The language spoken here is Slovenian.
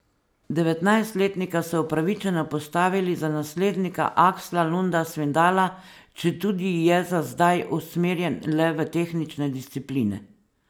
Devetnajstletnika so upravičeno postavili za naslednika Aksla Lunda Svindala, četudi je za zdaj usmerjen le v tehnične discipline.